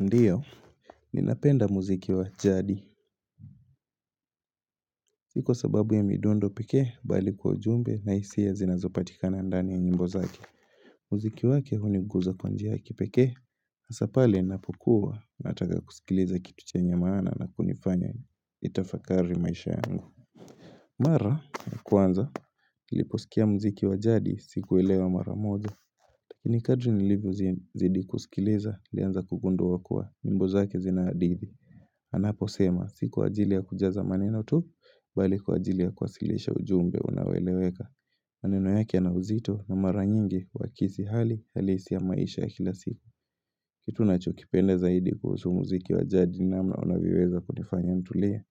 Ndiyo, ninapenda muziki wa jadi Si kwa sababu ya midundo pekee bali kwa ujumbe na hisia zinazopatikana ndani ya nyimbo zake muziki wake huniguza kwa njia ya kipekee Hasa pale napokuwa nataka kusikiliza kitu chenye maana na kunifanya nitafakari maisha yangu Mara, kwanza, nliposikia muziki wa jadi sikuelewa mara moja. Ni kadri nilipozidi kusikiliza, nilianza kugundua kuwa nyimbo zake zina hadithi Anaposema, si kwa ajili ya kujaza maneno tu, Bali kwa ajili ya kuwasilisha ujumbe unaoeleweka. Maneno yake yana uzito na maranyingi huakisi hali halisi ya maisha ya kila siku. Kitu nachokipenda zaidi kuhusu muziki wa jadi namna unavyoweza kunifanya nitulie.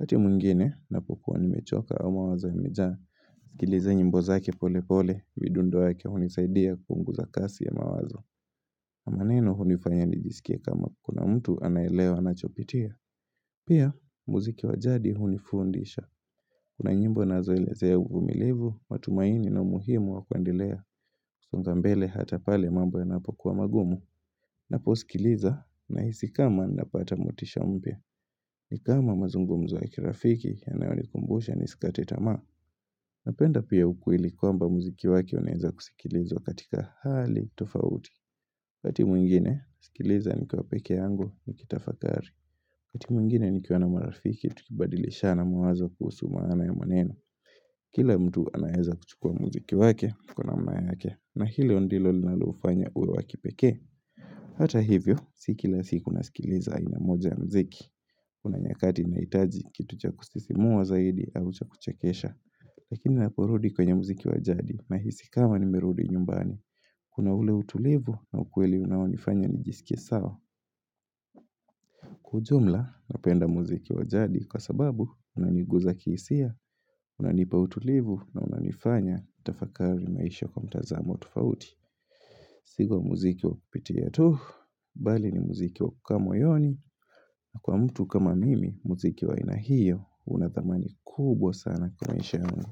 Wakati mwingine, ninapokuwa nimechoka au mawaza yamejaa. Nasikiliza nyimbo zake pole pole, midundo yake hunisaidia kupunguza kasi ya mawazo. Maneno hunifanya nijisikie kama kuna mtu anaelewa ninachopitia. Pia, muziki wa jadi hunifundisha. Kuna nyimbo nazoeleze umilivu, matumaini na umuhimu wa kuendelea. Songa mbele hata pale mambo yanapokuwa magumu. Napo sikiliza nahisi kama napata motisha mpya. Ni kama mazungumzu wa kirafiki yanayonikumbusha nisikate tamaa. Napenda pia ukweli kwamba muziki wake unaeza kusikilizwa katika hali tofauti. Wakati mwingine, nasikiliza nikiwa pekee yangu nikitafakari. Wakati mwingine nikiwa na marafiki, tukibadilishana mawazo kuhusu maana ya maneno. Kila mtu anaeza kuchukua muziki wake, kwa namna yake, na hilo ndilo linalofanya uwe wa kipekee. Hata hivyo, si kila siku nasikiliza aina moja ya muziki. Kuna nyakati nahitaji, kitu cha kusisimua zaidi au cha kuchekesha. Lakini naparudi kwenye muziki wa jadi, nahisi kama nimerudi nyumbani. Kuna ule utulivu na ukweli unaonifanya nijisikie sawa. Kwa ujumla, napenda muziki wa jadi kwa sababu unaniguza kihisia, unanipa utulivu na unanifanya tafakari maisha kwa mtazama wa tofauti. Si kwa muziki wa kupitia tu, bali ni muziki wa kukaa moyoni, na kwa mtu kama mimi, muziki wa aina hiyo, una thamani kubwa sana kwa maisha yangu.